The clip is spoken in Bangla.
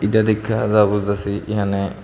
এটা দেইখ্যা যা বুঝতাসি ইহানে--